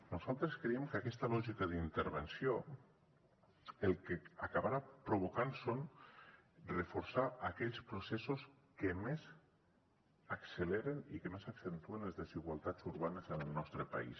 nosaltres creiem que aquesta lògica d’intervenció el que acabarà provocant és reforçar aquells processos que més acceleren i que més accentuen les desigualtats urbanes en el nostre país